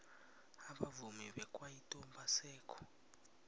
abavumi bekwaito abasekho